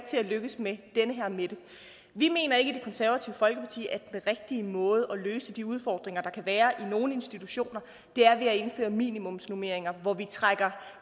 til lykkedes med den her mette vi mener ikke i det konservative folkeparti at den rigtige måde at løse de udfordringer der kan være i nogle institutioner er at indføre minimumsnormeringer hvor vi trækker